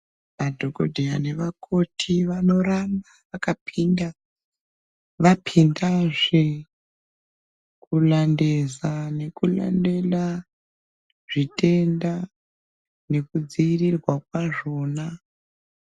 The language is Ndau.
Madhokodheya nevakoti vanoramba vakapinda vapindazve kulandeza nekulandela zvitenda nekudziirirwa kwazvona.